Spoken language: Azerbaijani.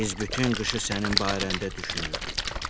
Biz bütün qışı sənin barəndə düşünürdük.